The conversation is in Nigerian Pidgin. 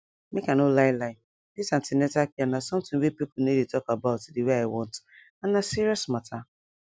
make i no lie lie this an ten atal care na something wey people no dey talk about the way i want and na serious matter